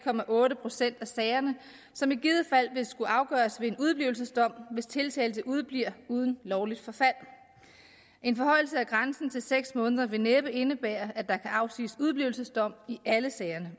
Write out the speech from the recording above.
procent af sagerne som i givet fald vil skulle afgøres ved en udeblivelsesdom hvis tiltalte udebliver uden lovligt forfald en forhøjelse af grænsen til seks måneder vil næppe indebære at der kan afsiges udeblivelsesdom i alle sagerne